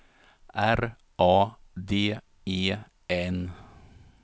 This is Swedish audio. R A D E N